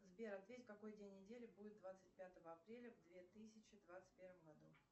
сбер ответь какой день недели будет двадцать пятого апреля в две тысячи двадцать первом году